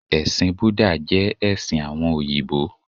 Ẹ̀sìn Búdà jẹ́ ẹ̀sìn àwọn òyìbó